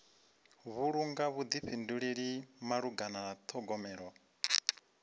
vhulunga vhuḓifhinduleli malugana na ṱhogomelo